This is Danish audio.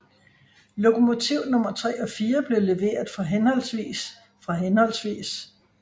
Lokomotiv nummer 3 og 4 blev leveret fra henholdsvis fra hhv